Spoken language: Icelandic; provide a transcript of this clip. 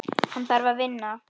Hann þarf að vinna.